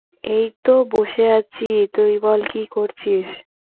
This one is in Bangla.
এই তো বসে আছি। তুই বল, কি করছিস?